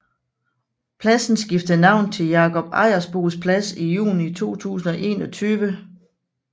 Pladsen skiftede navn til Jakob Ejersbos Plads i juni 2021